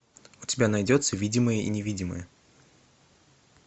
у тебя найдется видимые и невидимые